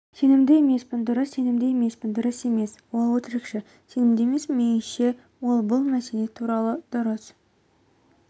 сенімді емеспін дұрыс сенімді емеспін дұрыс емес ол-өтірікші сенімді емеспін меніңше ол бұл мәселе туралы дұрыс